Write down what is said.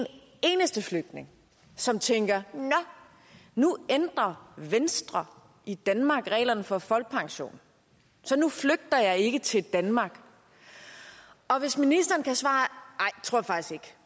eneste flygtning som tænker nå nu ændrer venstre i danmark reglerne for folkepension så nu flygter jeg ikke til danmark og hvis ministeren